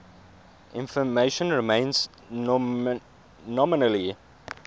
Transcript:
information remains nominally